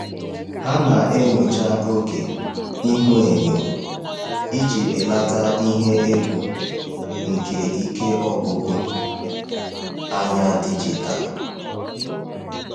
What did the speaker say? Ha na-enyocha oge ihuenyo iji belata ihe egwu nke ike ọgwụgwụ anya dijitalụ.